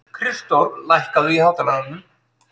Kristdór, lækkaðu í hátalaranum.